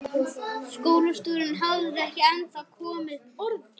Skólastjórinn hafði ekki ennþá komið upp orði.